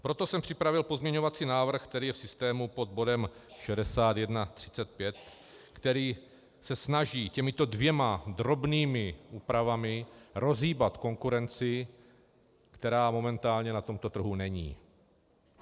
Proto jsem připravil pozměňovací návrh, který je v systému pod bodem 6135, který se snaží těmito dvěma drobnými úpravami rozhýbat konkurenci, která momentálně na tomto trhu není.